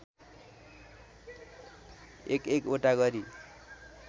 एकएक वटा गरी